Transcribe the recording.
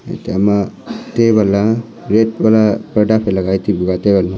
ete ama table a red wala purda phai taipu ate ganlo--